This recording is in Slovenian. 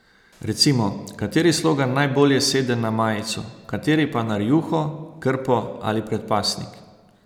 Recimo, kateri slogan najbolj sede na majico, kateri pa na rjuho, krpo ali predpasnik.